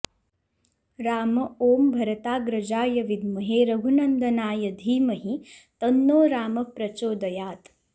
राम ॐ भरताग्रजाय विद्महे रघुनन्दनाय धीमहि तन्नो रामः प्रचोदयात्